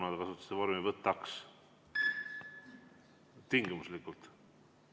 Kuna te kasutasite vormi "võtaks", tingimuslikult.